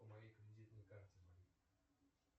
по моей кредитной карте